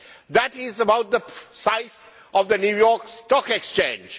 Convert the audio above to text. That is about the size of the New York Stock Exchange.